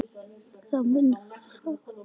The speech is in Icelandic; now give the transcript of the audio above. Það mun fátítt.